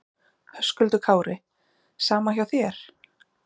Höskuldur Kári: Sama hjá þér?